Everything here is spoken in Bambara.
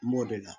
N b'o de la